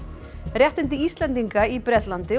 réttindi Íslendinga í Bretlandi